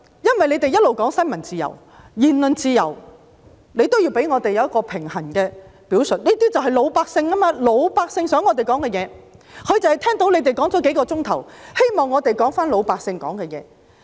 因為他們一直說新聞自由及言論自由，他們也要給我們一個平衡的表述，這些就是老百姓想我們說的話，老百姓就是聽到他們說了數小時，希望我們說回老百姓想說的話。